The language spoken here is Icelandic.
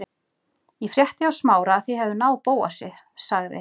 Ég frétti hjá Smára að þið hefðuð náð Bóasi- sagði